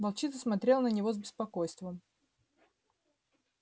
волчица смотрела на него с беспокойством